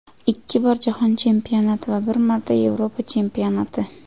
Ikki bor Jahon chempionati va bir marta Yevropa chempionati.